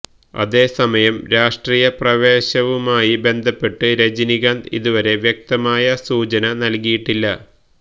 അതേസമയം രാഷ്ട്രീയ പ്രവേശവുമായി ബന്ധപ്പെട്ട് രജനികാന്ത് ഇതുവരെ വ്യക്തമായ സൂചന നൽകിയിട്ടില്ല